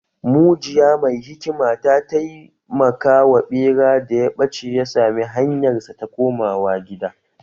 Mujiya mai hikima ta taimaka wa ɓera da ya ɓace ya sami hanyarsa ta komawa gida